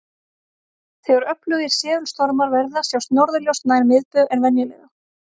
Þegar öflugir segulstormar verða sjást norðurljós nær miðbaug en venjulega.